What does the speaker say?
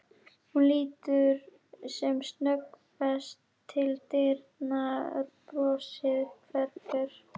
Hún lítur sem snöggvast til dyranna, brosið hverfur.